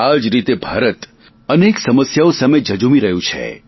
આ જ રીતે ભારત અનેક સમસ્યાઓ સામે ઝઝુમી રહ્યું છે